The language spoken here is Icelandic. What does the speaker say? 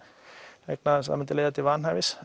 myndi leiða til vanhæfis